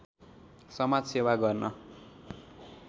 समाजसेवा गर्न